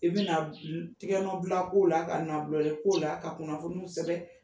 I bɛna tigɛ nɔn bila k'o la ka nɔnbilali k'o la ka kunnafoniw sɛbɛ